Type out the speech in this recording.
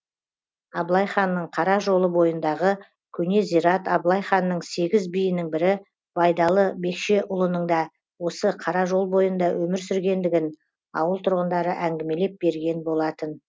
абылай ханның қара жолы бойындағы көне зират абылай ханның сегіз биінің бірі байдалы бекшеұлының да осы қара жол бойында өмір сүргендігін ауыл тұрғындары әңгімелеп берген болатын